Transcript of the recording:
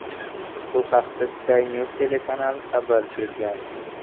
Bu haqda Sky News telekanali xabar bergan .